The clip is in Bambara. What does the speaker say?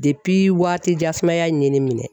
waati jan sumaya in ye minɛ